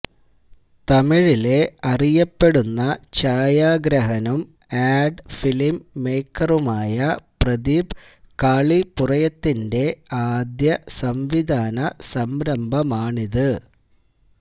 തമിഴിലെ അറിയപ്പെടുന്ന ഛായാഗ്രഹകനും ആഡ് ഫിലിം മേയ്ക്കറുമായ പ്രദീപ് കാളിപുറയത്തിന്റെ ആദ്യ സംവിധാന സംരംഭമാണിത്